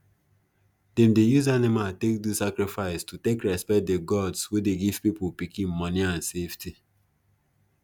them dey use animal take do sacrifice to take respect the gods wey dey give people pikin money and safety